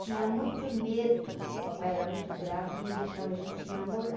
Tinha muito medo, papai era muito bravo, não deixava a gente namorar.